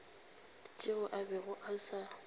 tšeo a bego a sa